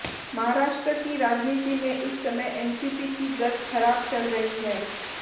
महाराष्ट्र की राजनीति में इस समय एनसीपी की गत खराब चल रही है